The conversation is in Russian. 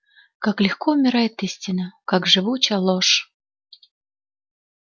как легко умирает истина как живуча ложь